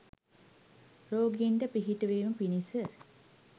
රෝගීන්ට පිහිටවීම පිණිස